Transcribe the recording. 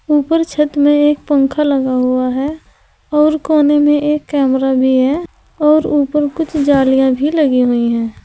ऊपर छत में एक पंख लगा हुआ है और कोने में एक कैमरा भी है और ऊपर कुछ जालियां भी लगी हुई हैं।